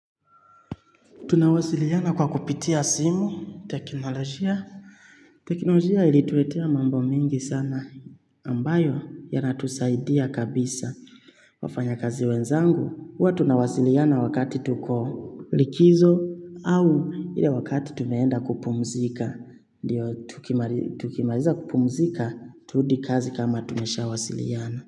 Tunawasiliana kwa kupitia simu, teknolojia. Teknolojia ilituletea mambo mingi sana ambayo yanatusaidia kabisa. Wafanyakazi wenzangu, huwa tunawasiliana wakati tuko likizo au ile wakati tumeenda kupumzika. Ndiyo, tukimariza kupumzika, turudi kazi kama tumeshawasiliana.